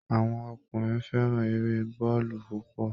Àwọn ọkùnrin fẹ́ran eré bọ́ọ̀lù púpọ̀